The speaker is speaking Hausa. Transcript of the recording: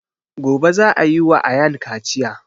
Gobe za a yi wa ayaan kaciya